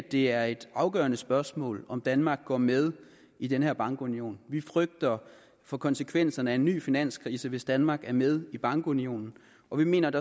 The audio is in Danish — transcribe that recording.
det er et afgørende spørgsmål om danmark går med i den her bankunion vi frygter for konsekvenserne af en ny finanskrise hvis danmark er med i bankunionen og vi mener at